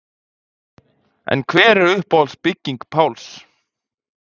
En hver er uppáhalds bygging Páls?